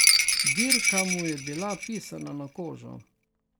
Dirka mu je bila pisana na kožo.